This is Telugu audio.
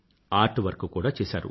ఆర్ట్ వర్క్ కూడా చేసారు